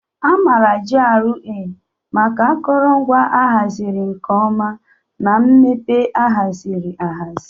A maara GRA maka akụrụngwa a haziri nke ọma na mmepe ahaziri ahazi.